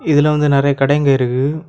இதுல வந்து நெறைய கடைங்க இருக்கு.